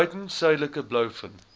buiten suidelike blouvin